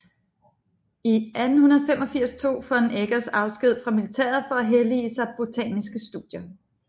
I 1885 tog von Eggers afsked fra militæret for at hellige sig botaniske studier